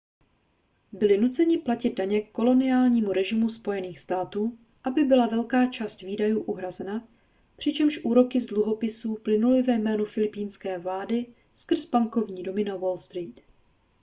byli nuceni platit daně koloniálnímu režimu spojených států aby byla velká část výdajů uhrazena přičemž úroky z dluhopisů plynuly ve jménu filipínské vlády skrze bankovní domy na wall street